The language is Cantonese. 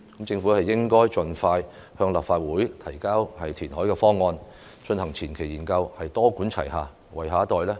政府應該盡快向立法會提交填海方案，進行前期研究，多管齊下，為下一代創造宜居空間。